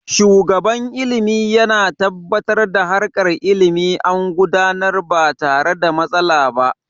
Shugaban ilimi yana tabbatar da harkar ilimi an gudanar ba tare da matsala ba